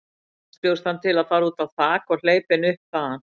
Næst bjóst hann til að fara út á þak og hleypa henni upp þaðan.